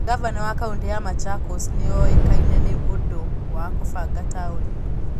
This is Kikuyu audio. Ngavana wa kaũntĩ ya Machakos nĩ ũĩkaine nĩ ũndũ wa kũbanga taũni.